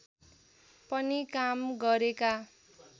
पनि काम गरेका